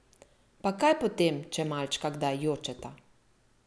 Pa kaj potem, če malčka kdaj jočeta!